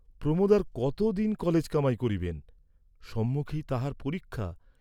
প্রমােদ আর কত দিন কলেজ কামাই করিবেন, সম্মুখেই তাঁহার পরীক্ষা।